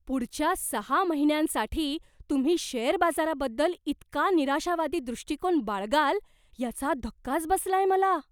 पुढच्या सहा महिन्यांसाठी तुम्ही शेअर बाजाराबद्दल इतका निराशावादी दृष्टिकोन बाळगाल याचा धक्काच बसलाय मला.